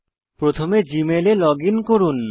প্রথমে জীমেলে লগইন করুন